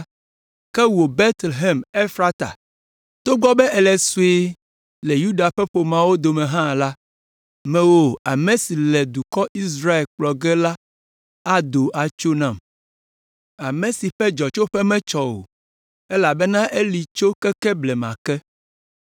“Ke wò, Betlehem, Efrata, togbɔ be èle sue le Yuda ƒe ƒomeawo dome hã la, mewòe ame si le nye dukɔ Israel kplɔ ge la ado tso nam. Ame si ƒe dzɔtsoƒe metsɔ o elabena eli tso keke blema ke.”